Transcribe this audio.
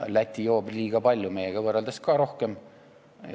Läti joob liiga palju, ka meiega võrreldes rohkem.